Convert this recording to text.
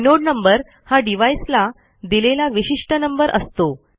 inode number हा device ला दिलेला विशिष्ट नंबर असतो